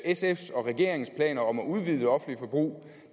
sfs og regeringens planer om at udvide det offentlige forbrug